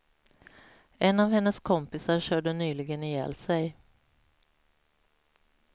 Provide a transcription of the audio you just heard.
En av hennes kompisar körde nyligen ihjäl sig.